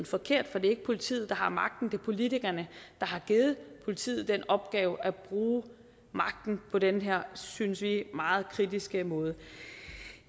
forkert for det er ikke politiet der har magten det er politikerne der har givet politiet den opgave at bruge magten på den her synes vi meget kritisable måde